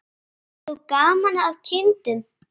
Bestu kveðjur frá okkur Marie.